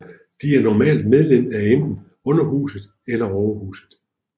De er normalt medlem af enten Underhuset eller Overhuset